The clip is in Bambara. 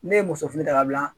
Ne ye muso fini ta ka bila